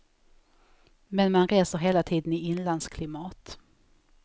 Men man reser hela tiden i inlandsklimat.